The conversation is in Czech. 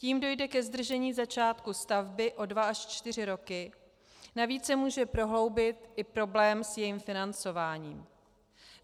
Tím dojde ke zdržení začátku stavby o dva až čtyři roky, navíc se může prohloubit i problém s jejím financováním.